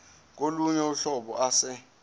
kolunye uhlobo ase